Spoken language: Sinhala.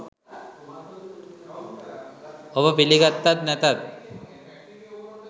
ඔබ පිළිගත්තත් නැතත්